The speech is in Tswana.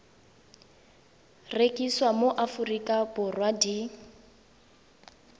rekisiwa mo aforika borwa di